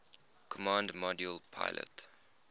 command module pilot